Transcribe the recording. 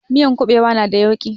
Miyan kuɓewa na da yauƙi